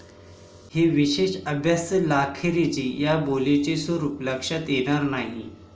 हे विशेष अभ्यासलाखेरीज या बोलीचे स्वरूप लक्षात येणार नाही.